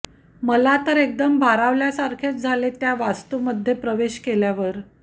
मला तर एकदम भारावल्या सारखेच झाले त्या वास्तु मध्ये प्रवेश केल्यावर